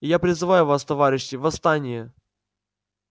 и я призываю вас товарищи восстание